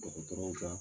Dɔgɔtɔrɔw ka